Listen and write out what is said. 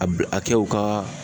A bi a kɛw ka